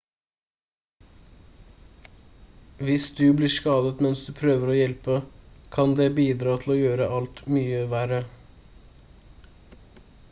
hvis du blir skadet mens du prøver å hjelpe kan det bidra til å gjøre alt mye verre